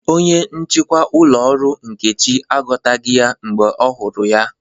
Onye nchịkwa ụlọ ọrụ Nkechi akọtaghị ya mgbe ọ hụrụ ya